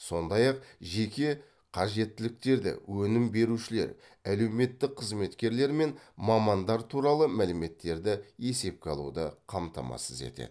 сондай ақ жеке қажеттіліктерді өнім берушілер әлеуметтік қызметкерлер мен мамандар туралы мәліметтерді есепке алуды қамтамасыз етеді